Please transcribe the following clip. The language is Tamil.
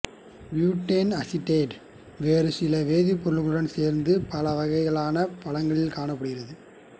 பியூட்டைல் அசிடேட்டு வேறு சில வேதிப்பொருட்களுடன் சேர்ந்து பல வகையான பழங்களில் காணப்படுகிறது